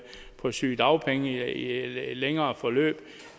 på sygedagpenge i et længere forløb